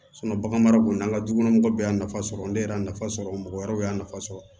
bagan mara kɔni an ka dukɔnɔmɔgɔw bɛɛ y'a nafa sɔrɔ ne yɛrɛ y'a nafa sɔrɔ mɔgɔ wɛrɛw y'a nafa sɔrɔ